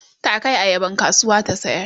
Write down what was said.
ta Kai ayaban kasuwa ta sayar